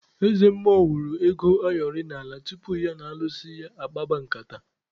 Eze mmụọ wụrụ ego ayọrị n'ala tupu ya na alụsị ya akpaba nkata.